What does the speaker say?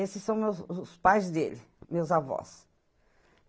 Esses são meus, os pais dele, meus avós.